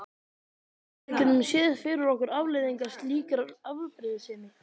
Við getum séð fyrir okkur afleiðingar slíkrar afbrýðisemi.